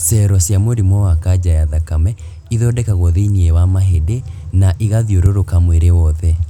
Cero cia mũrimũ wa kanja ya thakame ithondekagwo thĩ-inĩ wa mahĩndĩ na igathiũrũrũka mwĩrĩ wothe.